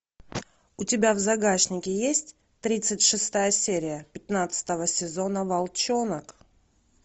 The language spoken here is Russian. у тебя в загашнике есть тридцать шестая серия пятнадцатого сезона волчонок